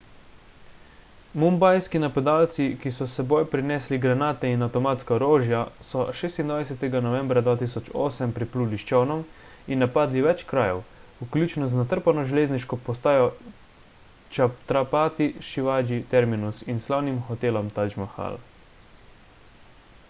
mumbajski napadalci ki so s seboj prinesli granate in avtomatska orožja so 26 novembra 2008 pripluli s čolnom in napadli več krajev vključno z natrpano železniško postajo chhatrapati shivaji terminus in slavnim hotelom taj mahal